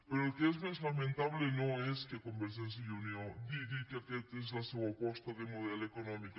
però el que és més lamentable no és que convergència i unió digui que aquesta és la seua aposta de model econòmic